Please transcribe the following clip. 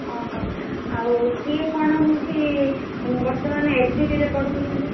ଅହୋ ଆଉ ସିଏ କଣ ହଉଛି ବର୍ତ୍ତମାନ SBD ରେ ପଢଉଛନ୍ତି।